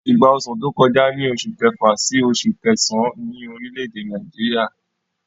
Ìgbà ọsàn tó kọjá ní oṣù kẹfà sí oṣù kẹsàn-án ní orílẹ̀-èdè Nàìjíríà.